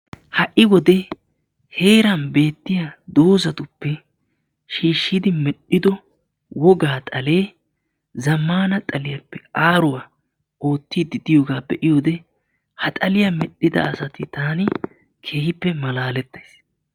Ha'i wode heeran beettiya dozatuppe shiishshidi medhdhido wogaa xalee zammaana xaliyappe aaruwa oottiiddi diyogaa be'iyode ha xaliya medhdhida asata taani keehippe malaalettays.